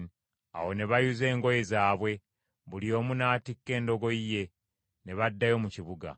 Awo ne bayuza engoye zaabwe, buli omu n’atikka endogoyi ye, ne baddayo mu kibuga.